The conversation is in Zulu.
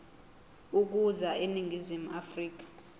ukuza eningizimu afrika